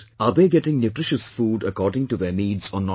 Are they getting nutritious food according to their needs or not